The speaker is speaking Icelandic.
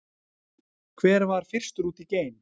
hver var fyrstur út í geim